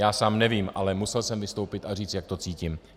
Já sám nevím, ale musel jsem vystoupit a říct, jak to cítím.